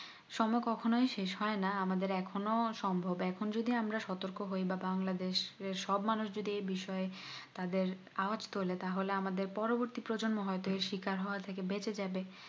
সময়কখনো শেষ হয়না আমাদের এখনো সম্ভব এখন যদি আমরা সতর্ক হয় বা বাংলাদেশ এর সব মানুষ যদি এই বিষয়ে তাদের আওয়াজ তোলে তাহলে আমাদের প্রজন্ম হয়তো এর স্বীকার হওয়া থেকে বেঁচে যাবে